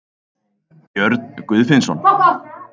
Björn Guðfinnsson.